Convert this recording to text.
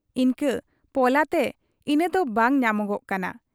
ᱤᱱᱠᱟᱹ ᱯᱚᱞᱟ ᱛᱮ ᱤᱱᱟᱫᱚ ᱵᱟᱝ ᱧᱟᱢᱚᱜᱟᱜ ᱠᱟᱱᱟ ᱾